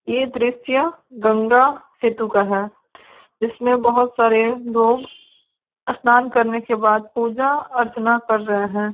ये दृध्य गंगा सेतु का है इसमें बहुत सारे लोग स्नान करने के बाद पूजा अर्चना कर रहे है।